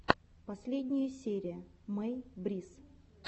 последняя серия мэй брисс